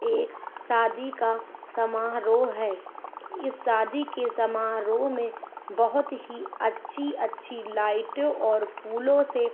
एक शादी का समारोह है इस शादी के समारोह मे बहुत ही अच्छी अच्छी लाइटे और फूलों से--